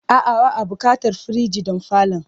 A'a, ba'a buƙatar firij don falon.